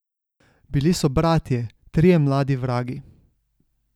Bili so bratje, trije mladi vragi.